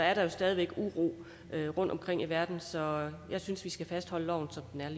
er der jo stadig væk uro rundtomkring i verden så jeg synes vi skal fastholde loven